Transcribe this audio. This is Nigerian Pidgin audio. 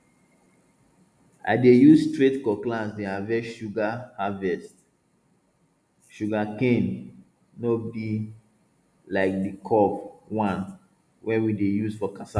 i dey use straight cutlass dey harvest sugar harvest sugar cane no be like di curve one wey we dey use for cassava